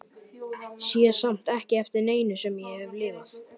Sé samt ekki eftir neinu sem ég hef lifað.